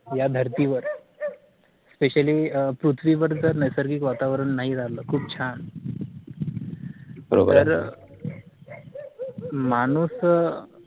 या धरती वर Specially पृथ्वी वर नैसर्गिक वातावरण नाही राहील खूप छान तर माणूस अं